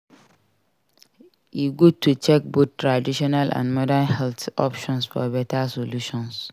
E good to check both traditional and modern health options for beta solution.